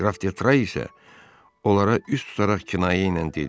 Qraf De Tray isə onlara üz tutaraq kinayə ilə dedi: